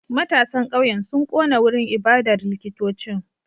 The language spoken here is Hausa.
Matasan kauyen sun kona wurin ibadar likitocin